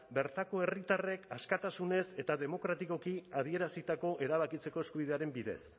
bertako herritarrek askatasunez eta demokratikoki adierazitako erabakitzeko eskubidearen bidez